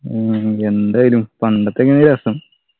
ഉം ഉം എന്തേയ്നു പണ്ടത്തെന്നയ്നു രസം